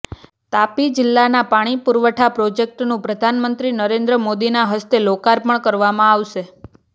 તાપી જિલ્લાના પાણી પુરવઠા પ્રોજેક્ટનું પ્રધાનમંત્રી નરેન્દ્ર મોદીના હસ્તે લોકાર્પણ કરવામાં આવશે